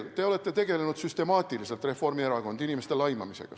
Te olete – Reformierakond – tegelenud süstemaatiliselt inimeste laimamisega.